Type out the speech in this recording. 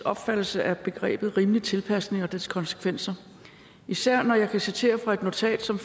opfattelse af begrebet rimelig tilpasning og dets konsekvenser især når jeg kan citere fra et notat som